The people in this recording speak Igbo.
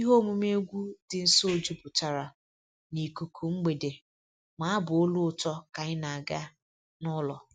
Ihe omume egwu dị nso jupụtara n'ikuku mgbede ma abụ olu ụtọ ka anyị na-aga n'ụlọ